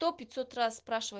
кто пятьсот раз спрашивает